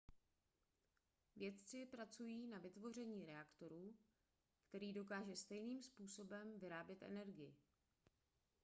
vědci pracují na vytvoření reaktoru který dokáže stejným způsobem vyrábět energii